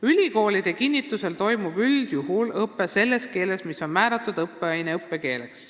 Ülikoolide kinnitusel toimub õpe üldjuhul selles keeles, mis on määratud õppeaine õppekeeleks.